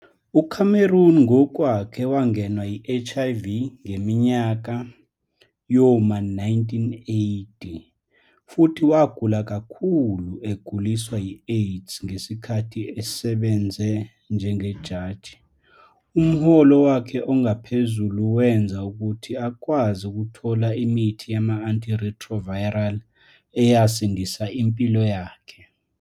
UCameron ngokwakhe wangenwa yi-HIV ngeminyaka yoma 1980, futhi wagula kakhulu eguliswa yi-AIDS ngesikhathi esebenze njengejaji. Umholo wakhe ophezulu wenza ukuthi akwazi ukuthola imithi yama-anti-retroviral, eyasindisa impilo yakhe.